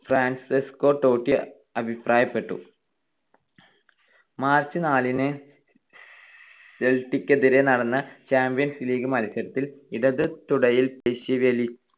Francesco Totti അഭിപ്രായപ്പെട്ടു. March നാലിന് സെൽട്ടികിനെതിരെ നടന്ന ചാമ്പ്യൻസ് ലീഗ് മത്സരത്തിൽ ഇടതു തുടയിൽ പേശീവലി